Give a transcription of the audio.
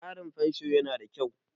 tsarin fansho yana da kyau